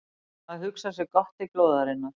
Að hugsa sér gott til glóðarinnar